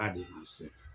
Ba de bi se